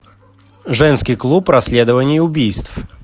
женский клуб расследований убийств